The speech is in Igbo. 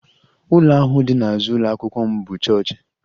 Ụlọ ahụ dị n'azụ ụlọ akwụkwọ m bụ chọọchị